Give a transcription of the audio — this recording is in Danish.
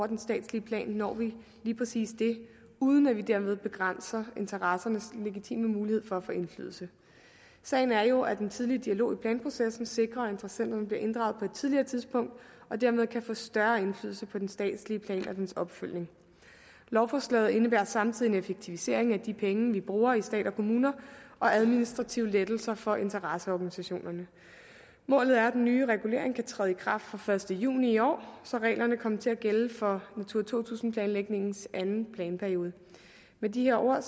den statslige plan når vi lige præcis det uden at vi dermed begrænser interessenternes legitime mulighed for at få indflydelse sagen er jo at en tidlig dialog i planprocessen sikrer at interessenterne bliver inddraget tidligere tidspunkt og dermed kan få større indflydelse på den statslige plan og dens opfølgning lovforslaget indebærer samtidig en effektivisering af de penge vi bruger i stat og kommuner og administrative lettelser for interesseorganisationerne målet er at den nye regulering kan træde i kraft fra den første juni i år så reglerne kommer til at gælde for natura to tusind planlægningens anden planperiode med de ord